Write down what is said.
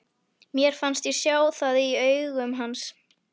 Mér fannst ég sjá það í augum hans.